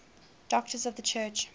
doctors of the church